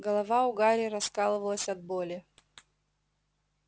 голова у гарри раскалывалась от боли